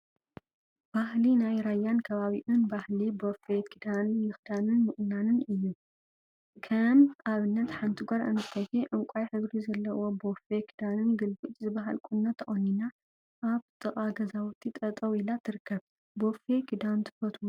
ባህሊ ናይ ራያን ከባቢኡን ባህሊ ቦፌ ክዳን ምክዳንን ምቁናንን እዩ፡፡ ከም አብነተ ሓንቲ ጓል አንስተይቲ ዕንቋይ ሕብሪ ዘለዎ ቦፌ ክዳንን ግልብጭ ዝበሃል ቁኖ ተቆኒና አብ ጥቃ ገዛውቲ ጠጠወ ኢላ ትርከብ፡፡ ቦፌ ክዳን ትፈትው ዶ?